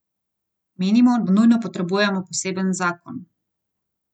Menimo, da nujno potrebujemo poseben zakon.